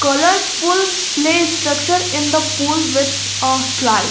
colourful play structure in the pool with a slide.